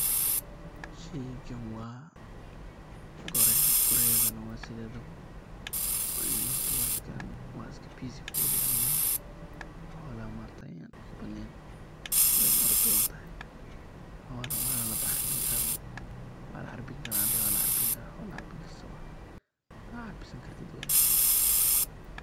Sheygan wa goreyo, goreyada wa sidedabo horta wa iska peaceful animal xolaha maaragte an dibka badnen, weyna orod badantahay xolo wana lacarbin kara, xolo ad carbin kartid wye